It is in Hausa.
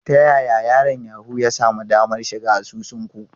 Ta yaya yaron Yahoo ya sami damar shiga asusun ku?